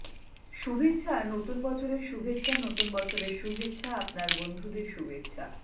শুভেচ্ছা নতুন বছরের শুভেচ্ছা নতুন বছরের শুভেচ্ছা আপনার বন্ধুদের শুভেচ্ছা